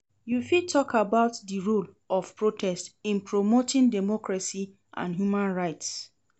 You fit talk about di role of protest in promoting democracy and human rights.